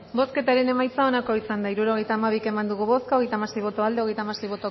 bozketaren emaitza onako izan da hirurogeita hamabi eman dugu bozka hogeita hamasei boto aldekoa treinta y seis